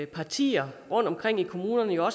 partier rundtomkring i kommunerne jo